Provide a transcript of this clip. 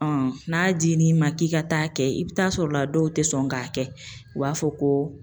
n'a dir'i ma k'i ka taa kɛ, i bi taa sɔrɔ a dɔw ti sɔn k'a kɛ u b'a fɔ ko